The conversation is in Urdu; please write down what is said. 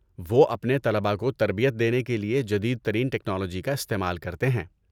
وہ اپنے طلبہ کو تربیت دینے کے لیے جدید ترین ٹکنالوجی کا استعمال کرتے ہیں۔